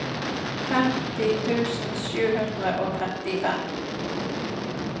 femti tusen sju hundre og trettifem